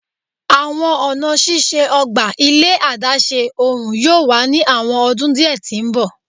Awọn ọna ṣiṣe ogba ile adaṣe ohun yoo wa ni awọn ọdun diẹ ti mbọ